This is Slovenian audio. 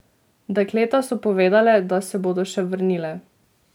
Dekleta so povedale, da se bodo še vrnile!